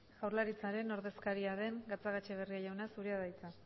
jaurlaritzaren ordezkaria den gatxagaetxebarria jauna zurea da hitza